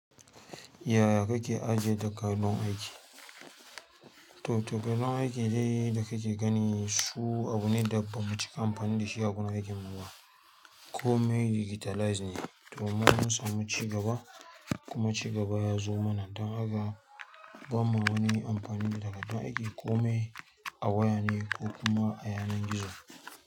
Yaya kake ajiye takardun aiki? To, takardun aiki dai da kake gani su abu ne da bamu cika amfani da shi a gurin aikin mu ba. Kome digitalize ne, to mun samu ci gaba kuma ci gaba ya zo mana don haka ba mu wani amfani da takadon aiki, kome a waya ne ko kuma a yanar gizo.